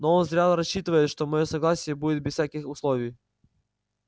но он зря рассчитывает что моё согласие будет без всяких условий